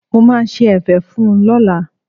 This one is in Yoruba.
Mo máa ṣe ẹ̀fẹ̀ fún un lọ́la.